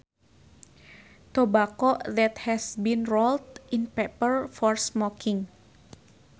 Tobacco that has been rolled in paper for smoking